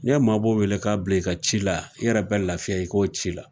Ni ye mabɔ wele k'a bila i ka ci la i yɛrɛ be lafiya i k'o ci la